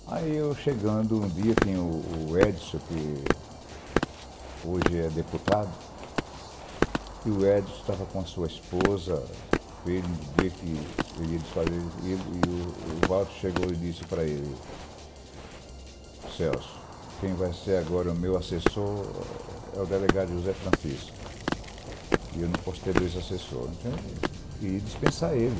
Aí eu chegando, um dia tem o Edson, que hoje é deputado, e o Edson estava com a sua esposa, os filhos, no dia que ele ia dispensar, e o Valter chegou e disse para ele, Celso, quem vai ser agora o meu assessor é o delegado José Francisco, e eu não posso ter dois assessores, e dispensar ele.